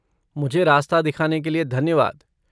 मुझे रास्ता दिखाने के लिए धन्यवाद।